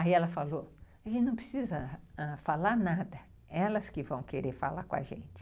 Aí ela falou, a gente não precisa falar nada, elas que vão querer falar com a gente.